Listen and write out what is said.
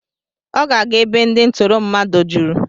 Ọ ga-aga ebe ndị ntụrụ mmadụ juru.